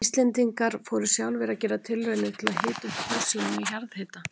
Íslendingar fóru sjálfir að gera tilraunir til að hita upp hús sín með jarðhita.